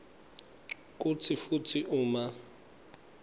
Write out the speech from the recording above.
kantsi futsi uma